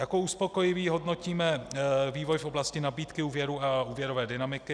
Jako uspokojivý hodnotíme vývoj v oblasti nabídky úvěrů a úvěrové dynamiky.